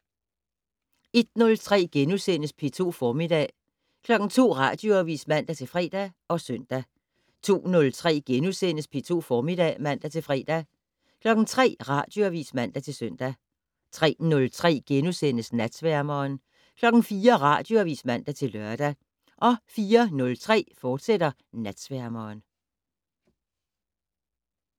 01:03: P2 Formiddag * 02:00: Radioavis (man-fre og søn) 02:03: P2 Formiddag *(man-fre) 03:00: Radioavis (man-søn) 03:03: Natsværmeren * 04:00: Radioavis (man-lør) 04:03: Natsværmeren, fortsat